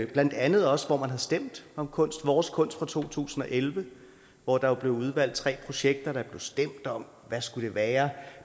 blandt andet også hvor man har stemt om kunst vores kunst fra to tusind og elleve hvor der blev udvalgt tre projekter der blev stemt om hvad skulle det være